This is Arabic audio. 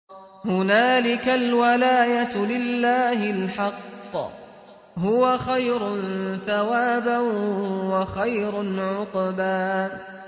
هُنَالِكَ الْوَلَايَةُ لِلَّهِ الْحَقِّ ۚ هُوَ خَيْرٌ ثَوَابًا وَخَيْرٌ عُقْبًا